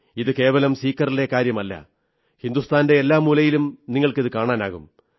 ഇത് കേവലം സീക്കറിലെ കാര്യമല്ല ഹിന്ദുസ്ഥാന്റെ എല്ലാ മൂലയിലും നിങ്ങൾക്കിതു കാണാനാകും